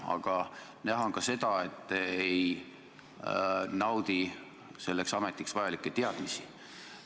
Aga näha on ka seda, et te ei naudi selleks ametiks vajalikke teadmisi.